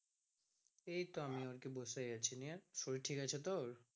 এই তো আমিও আরকি বসেই আছি নিয়ে শরীর ঠিক আছে তোর?